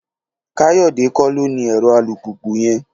Káyọ̀dé kọ́ ló ní ẹ̀rọ alùpùpù yẹn